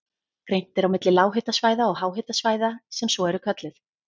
Greint er á milli lághitasvæða og háhitasvæða sem svo eru kölluð.